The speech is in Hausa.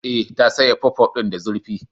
E, ta soya puffpuff din da zurfi?